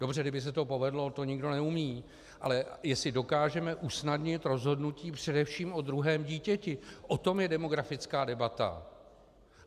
Dobře, kdyby se to povedlo, ale to nikdo neumí, ale jestli dokážeme usnadnit rozhodnutí především o druhém dítěti, o tom je demografická debata.